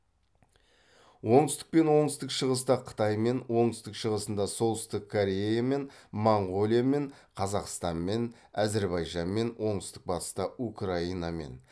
оңтүстік пен оңтүстік шығыста қытаймен оңтүстік шығысында солтүстік кореямен моңғолиямен қазақстанмен әзірбайжанмен оңтүстік батыста украинамен